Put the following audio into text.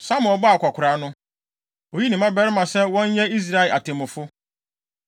Samuel bɔɔ akwakoraa no, oyii ne mmabarima sɛ wɔnyɛ Israel atemmufo.